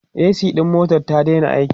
a.c ɗin motar ta Daina aiki